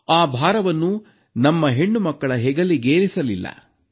ಆ ಭಾರವನ್ನು ನಮ್ಮ ಹೆಣ್ಣುಮಕ್ಕಳ ಹೆಗಲಿಗೇರಿಸಲಿಲ್ಲ